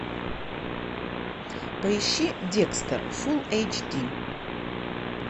поищи декстер фулл эйч ди